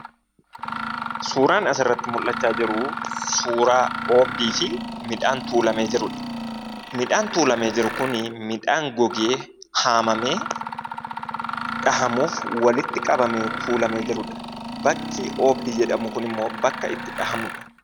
Suuraan asirratti mul'achaa jiru, suuraa oogdiifi midhaan tuullamee jirudha. Midhaan tuullamee jiru kun, midhaan gogee haamamee dhahamuuf walitti qabamee tuullamedha. Bakki oogdii jedhamu kunimmoo bakka itti dhahamudha.